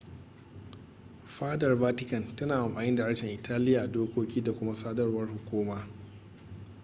fadar vatican tana amfani da harshen italiya a dokoki da kuma sadarwar hukuma